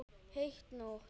Heit nótt.